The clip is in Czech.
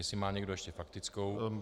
Jestli má někdo ještě faktickou?